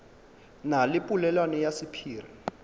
na le polelwana ya sephiri